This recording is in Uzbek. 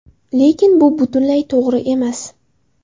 Lekin bu butunlay to‘g‘ri emas.